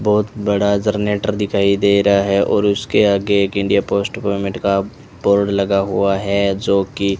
बहुत बड़ा जनरेटर दिखाई दे रहा है और उसके आगे एक इंडिया पोस्ट पेमेंट का बोर्ड लगा हुआ है जो कि --